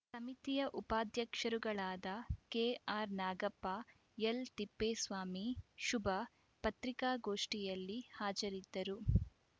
ಸಮಿತಿಯ ಉಪಾಧ್ಯಕ್ಷರುಗಳಾದ ಕೆಆರ್‌ನಾಗಪ್ಪ ಎಲ್‌ತಿಪ್ಪೇಸ್ವಾಮಿ ಶುಭ ಪತ್ರಿಕಾಗೋಷ್ಠಿಯಲ್ಲಿ ಹಾಜರಿದ್ದರು